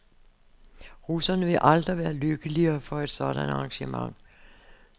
Russerne vil aldrig være lykkelige for et sådant arrangement.